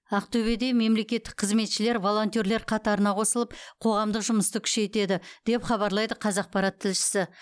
ақтөбеде мемлекеттік қызметшілер волонтерлер қатарына қосылып қоғамдық жұмысты күшейтеді деп хабарлайды қазақпарат тілшісі